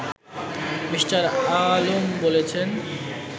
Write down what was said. me: Alam বলেছেন